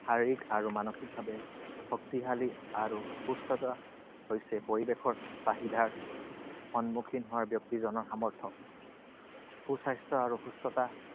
শাৰীৰিক আৰু মানসিকভাৱে শক্তিশালী আৰু সুস্থতা হৈছে পৰিৱেশৰ চাহিদাৰ সন্মুখীন হোৱা ব্যক্তিজনৰ সামৰ্থ্য। সুস্বাস্থ্য আৰু সুস্থতা